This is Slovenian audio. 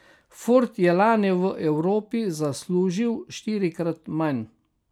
Ford je lani v Evropi zaslužil štirikrat manj.